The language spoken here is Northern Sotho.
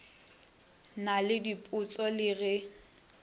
na le diphošo le ge